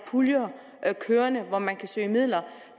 puljer kørende hvor man kan søge midler